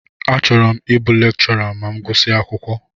Achọrọ m ịbụ lekchọra ma m gusia akwụkwọ.